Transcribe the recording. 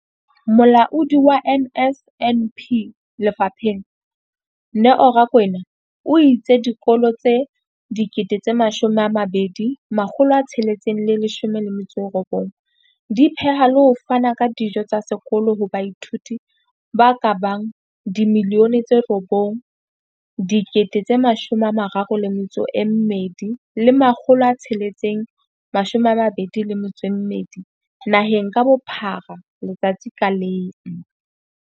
Molaodi wa NSNP lefapheng, Neo Rakwena, o itse dikolo tse 20 619 di pheha le ho fana ka dijo tsa sekolo ho baithuti ba ka bang 9 032 622 naheng ka bophara letsatsi ka leng.